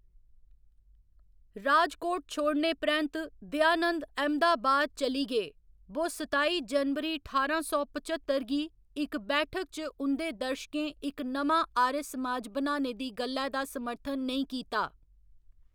राजकोट छोड़ने परैंत्त, दयानंद अहमदाबाद चली गे, बो सताई जनवरी ठारां सौ पच्चतर गी इक बैठक च उं'दे दर्शकें इक नमां आर्य समाज बनाने दी गल्लै दा समर्थन नेईं कीता।